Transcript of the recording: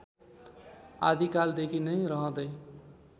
आदिकालदेखि नै रहँदै